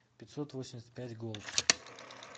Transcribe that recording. пятьсотвосемьдесятпятьголд